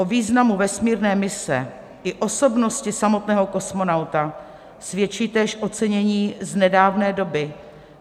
O významu vesmírné mise i osobnosti samotného kosmonauta svědčí též ocenění z nedávné doby.